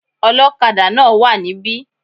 Ọlọ́kadà náà wà níbí